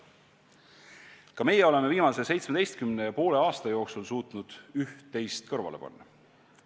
" Ka meie oleme viimase 17 ja poole aasta jooksul suutnud üht-teist kõrvale panna.